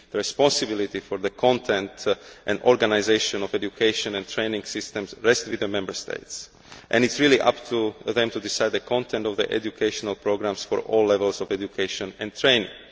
responsibility for the content and organisation of education and training systems rests with the Member States. It is really up to them to decide the content of their educational programmes for all levels of education and training.